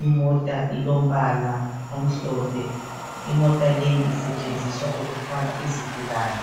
imota ilombala omhlophe, imota leyi isetshenziswa ukuthwala izigulane.